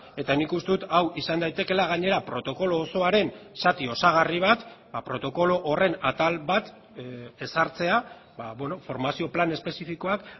eta nik uste dut hau izan daitekeela gainera protokolo osoaren zati osagarri bat protokolo horren atal bat ezartzea formazio plan espezifikoak